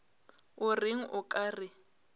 o reng o ka re